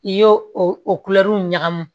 I y'o o ɲagami